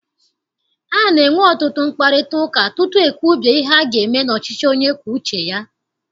A na-enwe ọtụtụ mkparịtaụka tutu ekwubie ihe aga eme n'ọchịchị onye kwue uche ya.